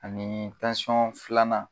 Ani filanan